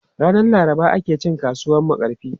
Ranan Laraba ake cin kasuwan Makarfi.